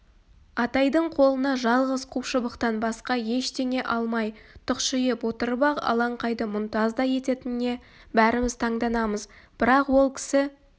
атайдың қолына жалғыз қу шыбықтан басқа ештеңе алмай тұқшиып отырып-ақ алаңқайды мұнтаздай ететініне бәріміз таңданамыз бірақ ол кісі